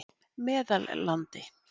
Meðallandi